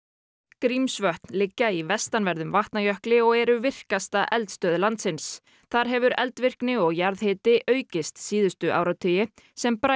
Grímsvötn liggja í vestanverðum Vatnajökli og eru virkasta eldstöð landsins þar hefur eldvirkni og jarðhiti aukist síðustu áratugi sem